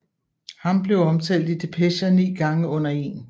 Ham blev omtalt i depecher ni gange under 1